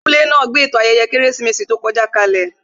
Abúlé náà gbé ètò ayẹyẹ Kérésìmesì tó kọjá kalè